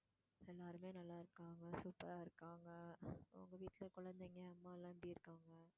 எல்லாருமே நல்லா இருக்காங்க super ஆ இருக்காங்க உங்க வீட்ல குழந்தைங்க அம்மா எல்லாம் எப்படி இருக்காங்க.